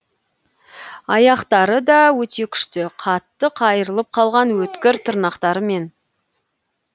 аяқтары да өте күшті қатты қайырылып қалған өткір тырнақтарымен